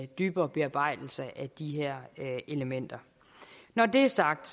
dybere bearbejdelse af de her elementer når det er sagt